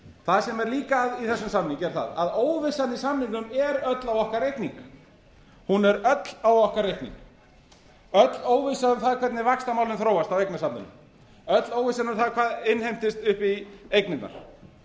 það sem er líka að í þessum samningi er það að óvissan í samningnum er öll á okkar reikning öll óvissa um það hvernig vaxtamálin þróast á eignasafninu öll óvissan um það hvað innheimtist upp í eignirnar